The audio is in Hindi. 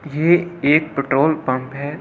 ये एक पेट्रोल पंप है।